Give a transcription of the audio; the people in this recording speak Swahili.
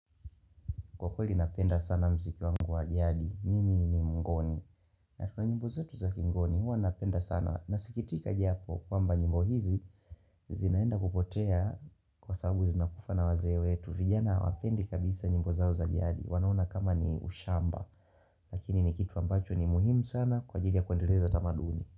Kwa kweli napenda sana mziki wangu wa jadi Mimi ni mngoni na tuna nyimbo zetu za kingoni Hua napenda sana Nasikitika japo kwamba nyimbo hizi zinaenda kupotea Kwasabu zinakufaa na wazee wetu vijana hawapendi kabisa nyimbo zao za jadi wanaona kama ni ushamba Lakini ni kitu ambacho ni muhimu sana Kwa ajili ya kuendeleza tamaduni.